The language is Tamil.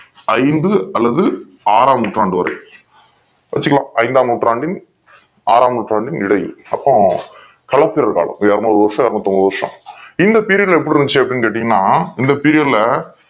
ஐந்து அல்லது ஆறாம் நூற்றாண்டு வரை வச்சிகிலாம் ஐந்தாம் நூற்றாண்டில் ஆறாம் நூற்றாண்டில் இடையில் அப்போ கல்ப்பிறு காலம் இது இரனூரு வருஷம் இரனூத்தி ஐம்பது வருஷம் இந்த period எப்டி இருந்துச்சி அப்டி கேட்டிங்கனா இந்த period ல